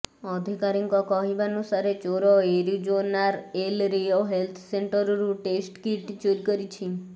ଅଧିକାରୀଙ୍କ କହିବାନୁସାରେ ଚୋର ଏରିଜୋନାର ଏଲ୍ ରିଓ ହେଲ୍ଥ ସେଣ୍ଟରରୁ ଟେଷ୍ଟ କିଟ୍ ଚୋରି କରିଛି